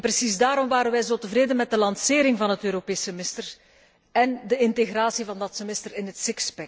En precies daarom waren wij zo tevreden met de lancering van het Europees semester en de integratie van dat semester in het